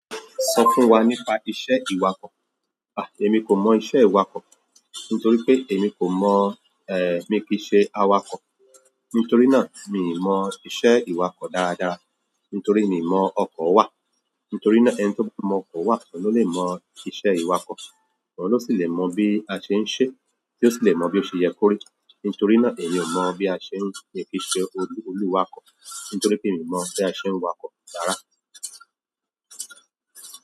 Sọ fún wa nípa iṣẹ́ ìwakọ̀. À, èmi kò mọ̀ iṣẹ́ ìwakọ̀. Nítorí pé èmi kò mọ̀, ẹ́ẹ́, mìí kìí ṣe awakọ̀. Nítorí náà mi ò mọ̀ iṣẹ́ ìwakọ̀ dáradára. Nítorí mi mọ̀ ọkọ̀ wà. Nítorí náà ẹni tó bá mọ̀ ọkọ̀ wà lọ́ lè mọ̀ iṣẹ́ ìwakọ̀. Òhun ló sì lè mọ̀ bí a ṣe ń ṣe, tí ó sì lè mọ̀ bí ó ṣe ye kórí. Nítorí náà èmi ò mọ̀ bí a ṣe ń míi kíṣe olú-olúwakọ̀. Nítorí pé èmi mọ̀ bí a ṣe ń wakọ̀ rárá.